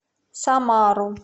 самару